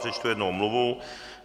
Přečtu jednu omluvu.